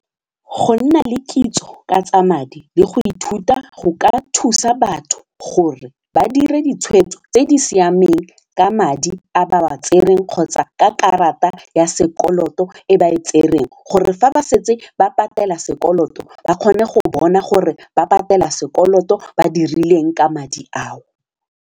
Go nna le kitso ka tsa madi le go ithuta go ka thusa batho gore ba dira ditshwetso tse di siameng ka madi a ba wa tsereng kgotsa ka karata ya sekoloto e ba e tsereng gore fa ba setse ba patela sekoloto ba kgone go bona gore ba patela sekoloto ba dirileng ka madi ao.